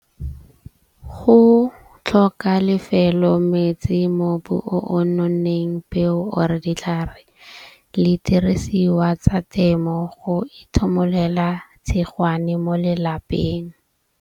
Go tlhoka lefelo, metsi, mobu o o nonneng peo or ditlhare le dirisiwa tsa temo, go itshimololela tshegwane mo lelapeng.